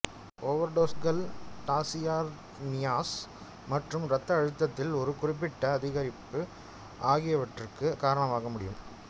ஓவர்டோஸ்கள் tachyarrhythmias மற்றும் ரத்த அழுத்தத்தில் ஒரு குறிப்பிட்ட அதிகரிப்பு ஆகியவற்றுக்கு காரணமாக முடியும்